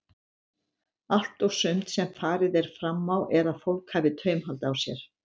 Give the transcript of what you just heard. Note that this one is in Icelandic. Allt og sumt sem farið er fram á er að fólk hafi taumhald á sér.